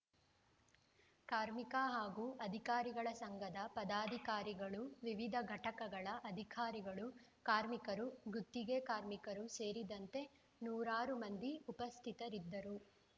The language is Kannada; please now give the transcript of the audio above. ಕಾರ್ಮಿಕ ಹಾಗೂ ಅಧಿಕಾರಿಗಳ ಸಂಘದ ಪದಾಧಿಕಾರಿಗಳು ವಿವಿಧ ಘಟಕಗಳ ಅಧಿಕಾರಿಗಳು ಕಾರ್ಮಿಕರು ಗುತ್ತಿಗೆಕಾರ್ಮಿಕರು ಸೇರಿದಂತೆ ನೂರಾರು ಮಂದಿ ಉಪಸ್ಥಿತರಿದ್ದರು